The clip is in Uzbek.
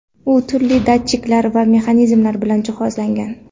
U turli datchiklar va mexanizmlar bilan jihozlangan.